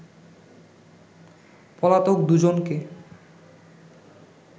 পলাতক দু’জনকে